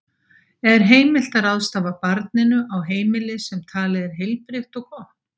Er heimilt að ráðstafa barninu á heimili sem talið er heilbrigt og gott?